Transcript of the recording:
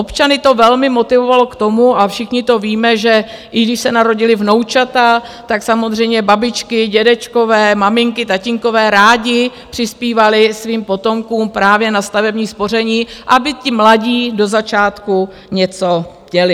Občany to velmi motivovalo k tomu, a všichni to víme, že i když se narodila vnoučata, tak samozřejmě babičky, dědečkové, maminky, tatínkové rádi přispívali svým potomkům právě na stavební spoření, aby ti mladí do začátku něco měli.